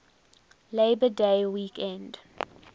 labor day weekend